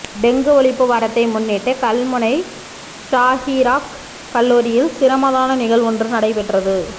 dengue ஒழிப்பு வாரத்தை முன்னிட்டு கல்முனை ஸாஹிறாக் கல்லூரியில் சிரமதான நிகழ்வொன்று நடைபெற்றது